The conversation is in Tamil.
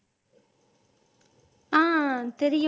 ஆஹ் தெரியும்